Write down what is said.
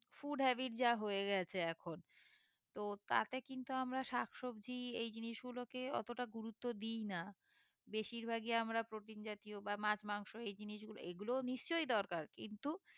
food habit যা হয়ে গেছে এখন তো তাতে কিন্তু আমরা শাক সবজি এই জিনিসগুলো কে অতটা গুরুত্ব দি না বেশির ভাগই আমরা protein জাতীয় বা মাছ মাংস এই জিনিসগুলো এই গুলোয় নিশ্চই দরকার কিন্তু